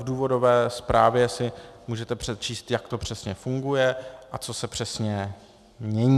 V důvodové zprávě si můžete přečíst, jak to přesně funguje a co se přesně mění.